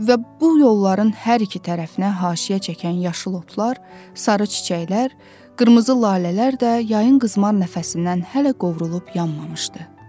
Və bu yolların hər iki tərəfinə haşiyə çəkən yaşıl otlar, sarı çiçəklər, qırmızı lalələr də yayın qızmar nəfəsindən hələ qovrulub yanmamışdı.